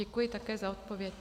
Děkuji také za odpověď.